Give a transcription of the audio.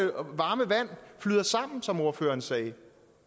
varme vand flyder sammen som ordføreren sagde